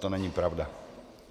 To není pravda.